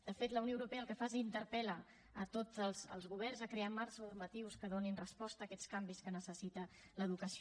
de fet la unió europea el que fa és interpel·la tots els governs a crear marcs normatius que donin resposta a aquests canvis que necessita l’educació